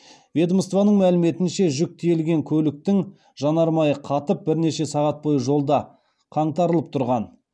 ведомствоның мәліметінше жүк тиелген көліктің жанармайы қатып бірнеше сағат бойы жолда қаңтарылып тұрған